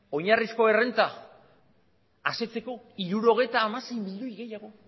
oinarrizko errenta asetzeko hirurogeita hamasei milioi gehiago